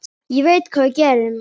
Ég veit hvað við gerum!